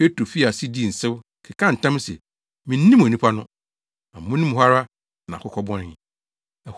Petro fii ase dii nsew, kekaa ntam se, “Minnim onipa no!” Amono mu hɔ ara na akokɔ bɔnee.